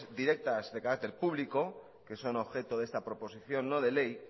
directas de carácter público que son objeto de esta proposición no de ley